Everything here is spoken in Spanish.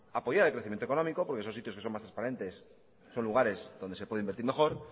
apoyar el crecimiento económico porque son sitios que son más transparentes son lugares donde se puede invertir mejor